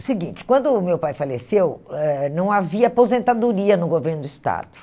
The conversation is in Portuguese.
O seguinte, quando o meu pai faleceu, eh não havia aposentadoria no governo do Estado.